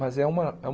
Mas é uma é um